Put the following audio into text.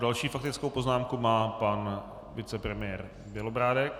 Další faktickou poznámku má pan vicepremiér Bělobrádek.